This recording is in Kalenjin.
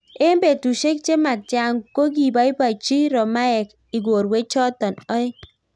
Eng petusiek chematia kokipaipachi romaek igorwee chotok oeng